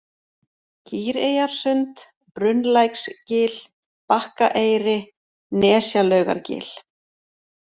Kýreyjarsund, Brunnlæksgil, Bakkaeyri, Nesjalaugargil